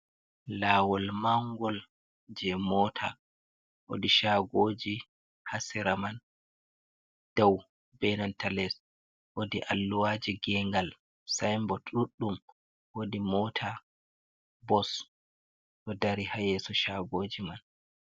Laawol mangol jei moota. Woodi shaagoji ha sera man, dou be nanta les. Woodi alluwaji gengal sainbod ɗuɗɗum. Woodi mota, bos ɗo dari ha yeso shaagoji man.